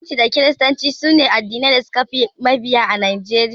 Musulunci da kiristanci sune addinai da suka fi mabiya a Najeriya.